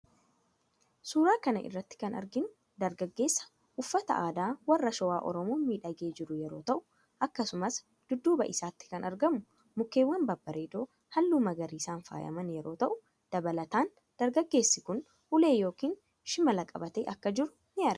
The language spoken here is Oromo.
Suura kana irratti kan arginu dargaggeessa uffata aadaa warra Shawaa Oromoon miidhagee jiru yeroo ta'u akkasumas dudduuba isaatti kan argamu mukeewwan babbareedoo halluu magariisan faayaman yeroo ta'u, dabalataan dargaggeessi kun ulee yookiin shimala qabatee akka jiru ni argina.